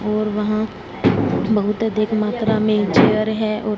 और वहां बहुत अधिक मात्रा में चेयर है और--